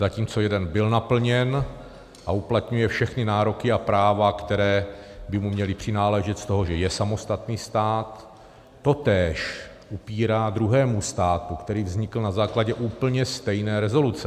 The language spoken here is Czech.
Zatímco jeden byl naplněn a uplatňuje všechny nároky a práva, která by mu měla přináležet z toho, že je samostatný stát, totéž upírá druhému státu, který vznikl na základě úplně stejné rezoluce.